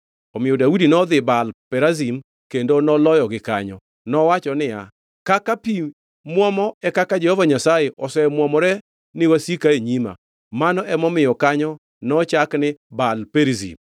Omiyo Daudi nodhi Baal Perazim kendo noloyogi kanyo. Nowacho niya, “Kaka pi muomo, e kaka Jehova Nyasaye osemwomore ni wasika e nyima.” Mano emomiyo kanyo nochak ni Baal-Perizim.